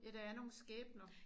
Ja der er nogle skæbner